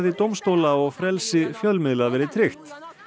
dómstóla og frelsi fjölmiðla verði tryggt